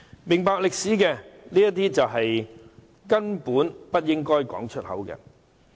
明白歷史的人根本不應把這些言詞說出口。